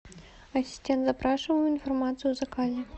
ассистент запрашиваю информацию о заказе